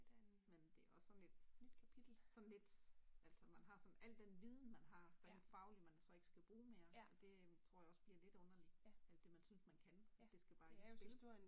Men det også sådan lidt sådan lidt altså man har sådan al den viden man har rent fagligt man så ikke skal bruge mere det tror jeg også bliver lidt underlig alt det man synes man kan det skal bare ikke i spil